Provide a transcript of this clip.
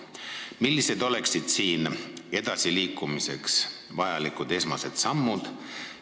Millised oleksid siin edasiliikumiseks vajalikud esmased sammud?